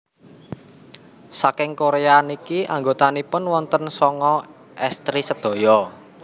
saking Korea niki anggotanipun wonten sanga estri sedaya